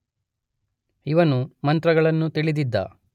ಇವನು ಮಂತ್ರಗಳನ್ನು ತಿಳಿದಿದ್ದ.